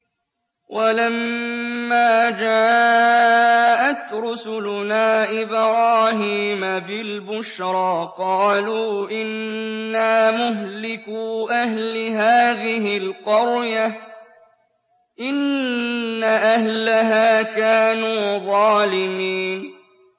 وَلَمَّا جَاءَتْ رُسُلُنَا إِبْرَاهِيمَ بِالْبُشْرَىٰ قَالُوا إِنَّا مُهْلِكُو أَهْلِ هَٰذِهِ الْقَرْيَةِ ۖ إِنَّ أَهْلَهَا كَانُوا ظَالِمِينَ